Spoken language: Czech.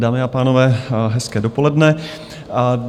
Dámy a pánové, hezké dopoledne.